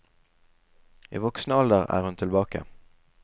I voksen alder er hun tilbake.